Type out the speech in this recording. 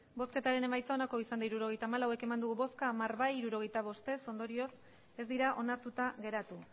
hirurogeita hamalau eman dugu bozka hamar bai hirurogeita bost ez ondorioz ez dira onartuta geratu